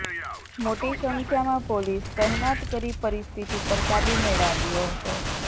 મોટી સંખ્યામાં પોલીસ તહેનાત કરી પરિસ્થિતિ પર કાબૂ મેળવાયો હતો